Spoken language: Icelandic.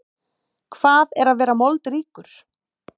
Hvað er að vera moldríkur?